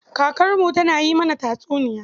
Kakarmu tana yin mana tatsuniya.